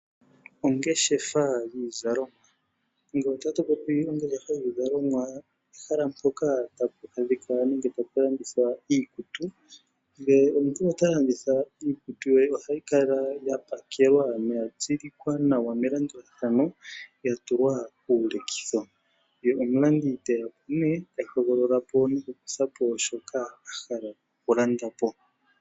Oongeshefa dhiizalomwa Ngele otatu popi ongeshefa yiizalomwa ehala mpoka tapu adhika nenge tapu landithwa iikutu. Ngele omuntu ota landitha iikutu ye, ohayi kala ya pakelwa noya tsilikwa nawa melandulathano, ya tulwa kiilekitho, ye omulandi te ya po nee ta hogolola noku kutha po shoka a hala oku landa po.